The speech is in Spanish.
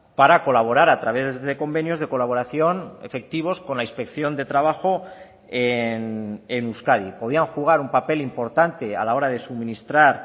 para colaborar a través de convenios de colaboración efectivos con la inspección de trabajo en euskadi podían jugar un papel importante a la hora de suministrar